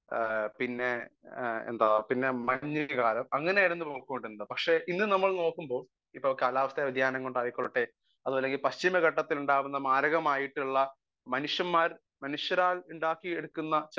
Speaker 1 പിന്നെ എന്താ മഞ്ഞുകാലം അങ്ങനെ ആയിരുന്നു പൊയ്ക്കൊണ്ടിരുന്നത് . പക്ഷെ ഇന്ന് നമ്മൾ നോക്കുമ്പോൾ കാലാവസ്ഥ വ്യതിയാനം കൊണ്ട് ആയിക്കോട്ടെ പശ്ചിമ ഘട്ടത്തിൽ ഉണ്ടാവുന്ന മാരകമായിട്ടുള്ള മനുഷ്യരാൽ ഉണ്ടാക്കി എടുക്കുന്ന